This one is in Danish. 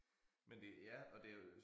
Men det ja og det jo